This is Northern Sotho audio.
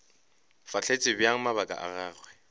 fahletše bjang mabaka a gagwe